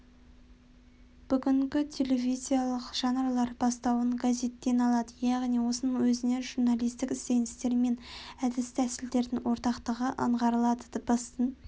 бүгінгі телевизиялық жанрлар бастауын газеттен алады яғни осының өзінен журналистік ізденістер мен әдіс-тәсілдердің ортақтығы аңғарылады дыбыстың